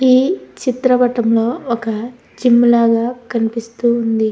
ఈ చిత్రపటంలో ఒక జిమ్ లాగ కనిపిస్తూ ఉంది.